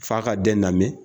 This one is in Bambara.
Fa ka den namɛn